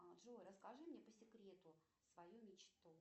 джой расскажи мне по секрету свою мечту